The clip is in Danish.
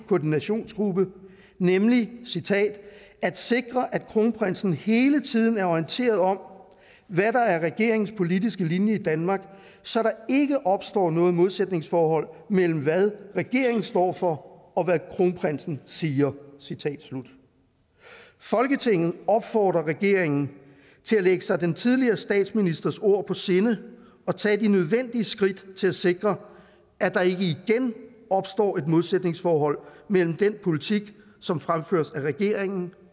koordinationsgruppe nemlig at sikre at kronprinsen hele tiden er orienteret om hvad der er regeringens politiske linje i danmark så der ikke opstår noget modsætningsforhold mellem hvad regeringen står for og hvad kronprinsen siger folketinget opfordrer regeringen til at lægge sig den tidligere statsministers ord på sinde og tage de nødvendige skridt til at sikre at der ikke igen opstår et modsætningsforhold mellem den politik som fremføres af regeringen